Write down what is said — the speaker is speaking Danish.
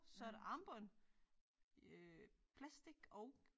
Så er der armbånd øh plastic og